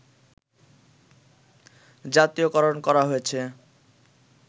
জাতীয়করণ করা হয়েছে